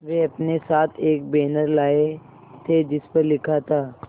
वे अपने साथ एक बैनर लाए थे जिस पर लिखा था